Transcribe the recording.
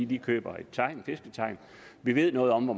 de køber et fisketegn vi ved noget om hvor